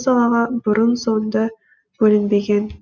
мұндай қаражат бұл салаға бұрын соңды бөлінбеген